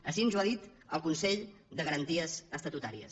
així ens ho ha dit el consell de garanties estatutàries